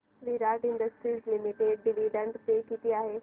विराट industries limited dividend pay किती आहे